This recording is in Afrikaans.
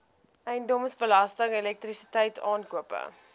eiendomsbelasting elektrisiteit aankope